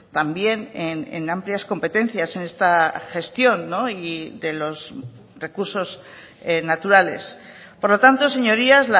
también en amplias competencias en esta gestión y de los recursos naturales por lo tanto señorías